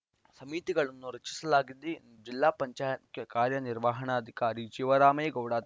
ಸಮಿತಿಗಳನ್ನು ರಚಿಸಲಾಗಿದೆ ಎಂದು ಜಿಲ್ಲಾ ಪಂಚಾಯತ್‌ ಮುಖ್ಯ ಕಾರ್ಯನಿರ್ವಹಣಾಧಿಕಾರಿ ಶಿವರಾಮೇಗೌಡ